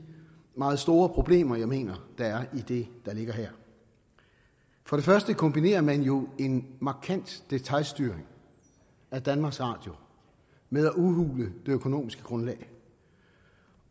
meget store problemer jeg mener der er i det der ligger her for det første kombinerer man jo en markant detailstyring af danmarks radio med at udhule det økonomiske grundlag